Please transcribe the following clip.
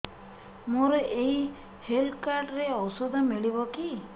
ମୋର ଏଇ health card ରେ ଔଷଧ ମିଳିବ କି